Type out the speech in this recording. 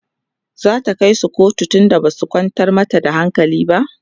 zata kaisu kotu tunda Basu kwantar mata da hankali ba?